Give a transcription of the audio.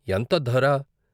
ఎంత ధర?